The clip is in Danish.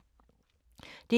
DR2